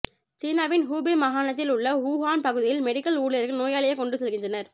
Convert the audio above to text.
சீனாவின் ஹூபே மாகாணத்தில் உள்ள ஊஹான் பகுதியில்மெடிக்கல் ஊழியர்கள் நோயாளியை கொண்டு செல்கின்றனர்